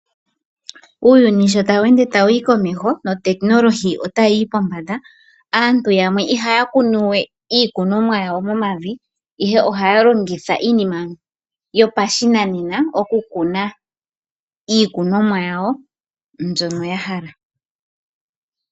Uuyuni sho tawu ende tawu yi komeho nuutekinolohi otayi yi pombanda. Aantu yamwe ihaya kunu we iikunomwa yawo momavi ihe ihaya longitha iilongitho yopashinanena oku kunwa iikunomwa yawo mbyoka ya hala.